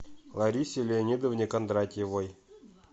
ларисе леонидовне кондратьевой